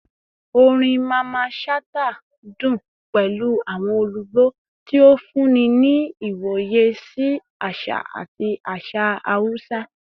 Orin Mamman Shata dun pẹlu awọn olugbo, ti o funni ni iwoye si aṣa ati aṣa Hausa